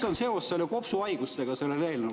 … aga mis seos on sellel eelnõul kopsuhaigustega?